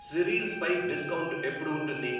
Cereals పై discount ఎప్పుడు ఉంటుంది?